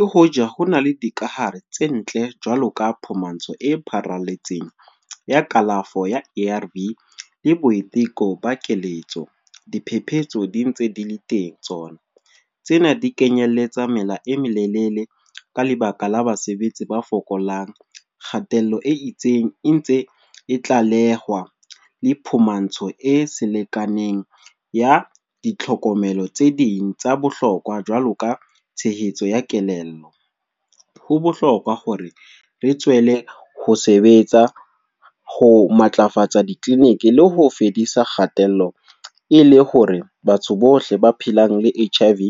E hoja ho na le dikahare tse ntle, jwalo ka phumantso e pharalletseng, ya kalafo ya A_R_V le boiteko ba keletso. Diphepetso di ntse di le teng tsona. Tsena di kenyelletsa mela e melelele ka lebaka la basebetsi ba fokolang. Kgatello e itseng e ntse e tlalehwa. Le phumantso e selekaneng ya di tlhokomelo tse ding tsa bohlokwa, jwalo ka tshehetso ya kelello. Ho bohlokwa hore re tswele ho sebetsa ho matlafatsa di-clinic le ho fedisa kgatello e le hore batho bohle ba phelang le H_I_V